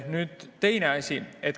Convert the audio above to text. Nüüd teine asi.